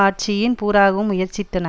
ஆட்சியின் பூராவும் முயற்சித்தன